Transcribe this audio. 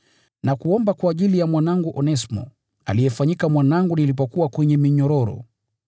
nakuomba kwa ajili ya mwanangu Onesimo, aliyefanyika mwanangu nilipokuwa kwenye minyororo.